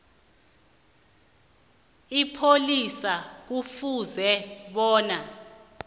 ipholisa kufuze bona